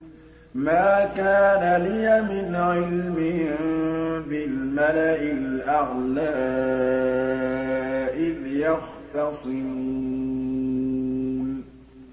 مَا كَانَ لِيَ مِنْ عِلْمٍ بِالْمَلَإِ الْأَعْلَىٰ إِذْ يَخْتَصِمُونَ